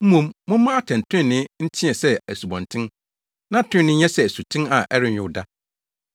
Mmom, momma atɛntrenee nteɛ sɛ asubɔnten, na trenee nyɛ sɛ asuten a ɛrenyow da!